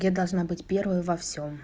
я должна быть первой во всём